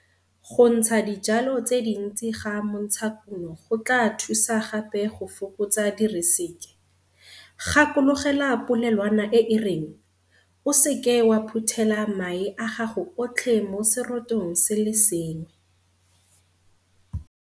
Go ntsha dijalo tse dintsi ga montshakuno go tlaa thusa gape go fokotsa diriseke. Gakologelwa polelwana e e reng, o se ke wa phuthela mae a gago otlhe mo serotong se le sengwe.